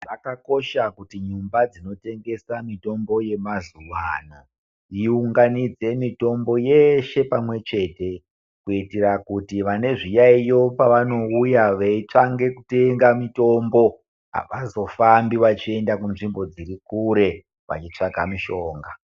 Zvakakosha kuti nyumba dzinotengesa mitombo yamazuvano dziunganidze mitombo yeshe pamwechete. Kuitira kuti vane zviyaiyo pavanoya veitsvange kutenga mitombo havazofambi vachienda kunzvimbo dziri kure, vachitsvaga mishonga.